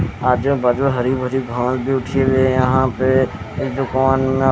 आजू बाजू हरी भरी घास भी उठी हुई है यहां पे इस दुकान में--